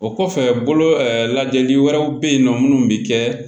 O kɔfɛ bolo lajɛli wɛrɛw bɛ yen nɔ minnu bɛ kɛ